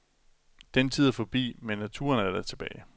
Den tid er forbi, men naturen er da tilbage.